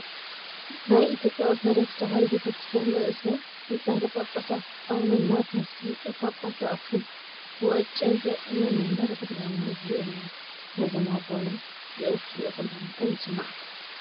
ናይ ኢትዮጵያ ኦርቶዶክስ ተዋህዶ ቤተ ክርስትያን ርእሰ ሊቃነ ጳጳሳት ኣውነ ማቲያስ ሊቀ ጳጳስ ዘ-ኣክሱም ወእጨጌ ዘ-መንበረ ተ/ሃይማኖት እዚኦም እዮም፡፡ ነዞም ኣቦና እዚኦም ክትሪኡ ከለኹ እንታይ ይስማዓኩም?